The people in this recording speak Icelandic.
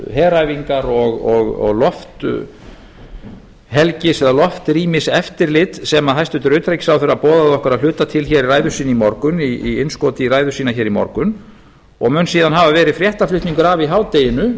heræfingar og lofthelgis eða loftrýmiseftirlit sem hæstvirtur utanríkisráðherra boðaði okkur að hluta til hér í ræðu sinni í morgun í innskoti í ræðu sína hér í morgun og mun síðan hafa verið fréttaflutningur af í hádeginu á